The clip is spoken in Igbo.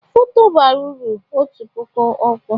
Foto bara uru otu puku okwu